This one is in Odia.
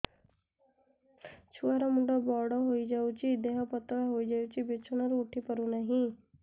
ଛୁଆ ର ମୁଣ୍ଡ ବଡ ହୋଇଯାଉଛି ଦେହ ପତଳା ହୋଇଯାଉଛି ବିଛଣାରୁ ଉଠି ପାରୁନାହିଁ